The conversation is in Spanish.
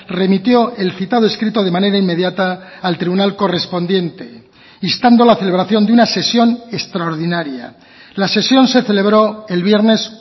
remitió el citado escrito de manera inmediata al tribunal correspondiente instando la celebración de una sesión extraordinaria la sesión se celebró el viernes